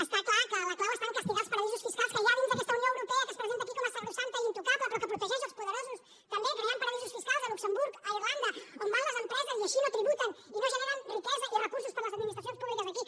està clar que la clau està a castigar els paradisos fiscals que hi ha dins d’aquesta unió europea que es presenta aquí com a sacrosanta i intocable però que protegeix els poderosos també creant paradisos fiscals a luxemburg a irlanda on van les empreses i així no tributen ni generen riquesa ni recursos per a les administracions públiques d’aquí